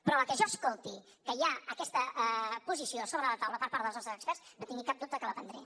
però a la que jo escolti que hi ha aquesta posició sobre la taula per part dels nostres experts no tingui cap dubte que la prendré